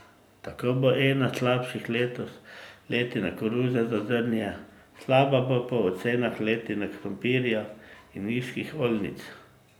Tako bo ena slabših letos letina koruze za zrnje, slaba bo po ocenah letina krompirja in njivskih oljnic.